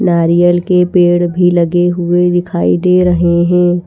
नारियल के पेड़ भी लगे हुए दिखाई दे रहे हैं।